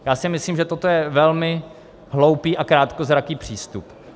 Já si myslím, že toto je velmi hloupý a krátkozraký přístup.